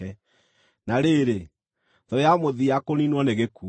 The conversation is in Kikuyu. Na rĩrĩ, thũ ya mũthia kũniinwo nĩ gĩkuũ.